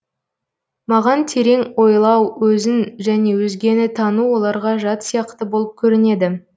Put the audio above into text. маған терең ойлау өзін және өзгені тану оларға жат сияқты болып көрінеді